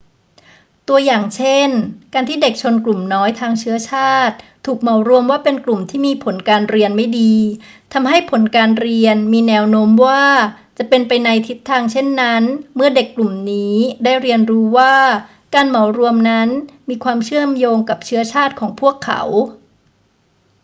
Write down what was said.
ตัวอย่างเช่น การที่เด็กชนกลุ่มน้อยทางเชื้อชาติถูกเหมารวมว่าเป็นกลุ่มที่มีผลการเรียนไม่ดี ทำให้ผลการเรียนมีแนวโน้มว่าจะเป็นไปในทิศทางเช่นนั้นเมื่อเด็กกลุ่มนี้ได้เรียนรู้ว่าการเหมารวมนั้นมีความเชื่อมโยงกับเชื้อชาติของพวกเขา